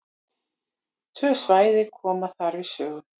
Tvö svæði koma þar við sögu.